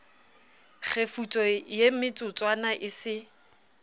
kgefutso ye metsotswana e se